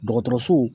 Dɔgɔtɔrɔso